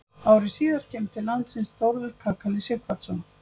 Ári síðar kemur til landsins Þórður kakali Sighvatsson.